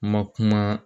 Ma kuma